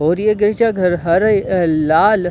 और ये गिरजा घर है हरे और लाल--